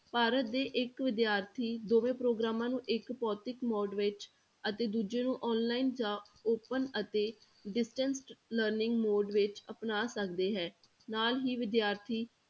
ਭਾਰਤ ਦੇ ਇੱਕ ਵਿਦਿਆਰਥੀ ਦੋਵੇਂ ਪ੍ਰੋਗਰਾਮਾਂ ਨੂੰ ਇੱਕ ਭੌਤਿਕ ਮੋੜ ਵਿੱਚ ਅਤੇ ਦੂਜੇ ਨੂੰ online ਜਾਂ open ਅਤੇ distance learning mode ਵਿੱਚ ਅਪਣਾ ਸਕਦੇ ਹੈ ਨਾਲ ਹੀ ਵਿਦਿਆਰਥੀ